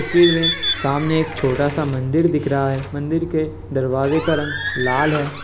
तस्वीर में सामने एक छोटा सा मंदिर दिख रहा है मंदिर के दरवाज़े का रंग लाल है।